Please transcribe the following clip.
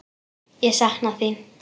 Ég sakna þín.